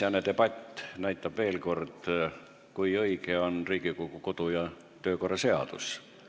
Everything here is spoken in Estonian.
Äsjane debatt näitas veel kord, kui õige on Riigikogu kodu- ja töökorra seadus.